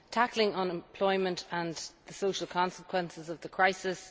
tackling unemployment and the social consequences of the crisis